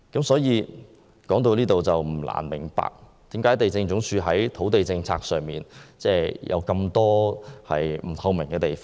所以，不難明白為何地政總署的土地政策有這麼多不透明的地方。